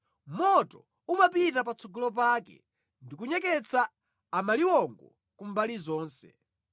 Moto umapita patsogolo pake ndi kunyeketsa amaliwongo kumbali zonse.